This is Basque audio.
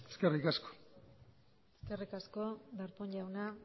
eskerrik asko eskerrik asko darpón jauna